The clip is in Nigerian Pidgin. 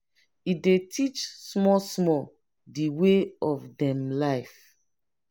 e dey teach small small de way of dem life.